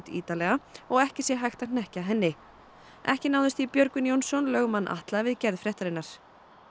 ítarlega og ekki sé hægt að hnekkja henni ekki náðist í Björgvin Jónsson lögmann Atla við gerð fréttarinnar